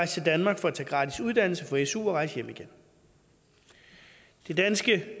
til danmark for at tage gratis uddannelse på su og rejse hjem igen det danske